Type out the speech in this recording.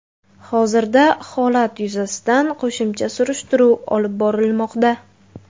Hozirda holat yuzasidan qo‘shimcha surishtiruv olib borilmoqda.